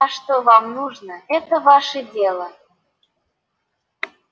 а что вам нужно это ваше дело